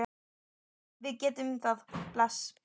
Já, við gerum það. Bless.